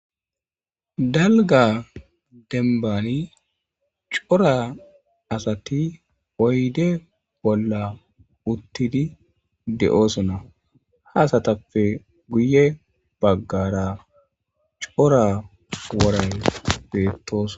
Dalgga dembanni corra assathi oyde bolla uththidi dossonna. Ha asathappe guyye baggara corra worayye bettossona